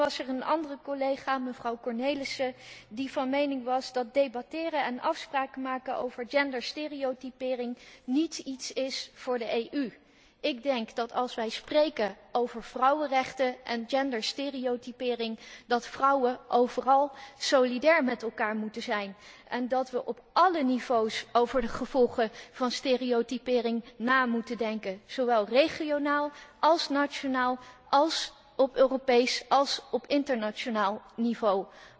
Dan was er een andere collega, mevrouw Cornelissen, die van mening was dat debatteren en afspraken maken over genderstereotypering niet iets is voor de EU. Ik denk dat als wij spreken over vrouwenrechten en genderstereotypering, vrouwen overal solidair met elkaar moeten zijn en dat we op alle niveaus over de gevolgen van stereotypering moeten nadenken, zowel regionaal, als nationaal, als op Europees en op internationaal niveau.